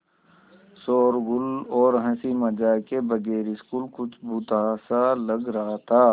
शोरोगुल और हँसी मज़ाक के बगैर स्कूल कुछ भुतहा सा लग रहा था